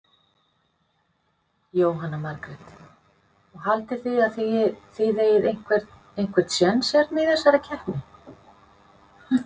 Jóhanna Margrét: Og haldið þið að þið eigið einhvern, einhvern séns hérna í þessari keppni?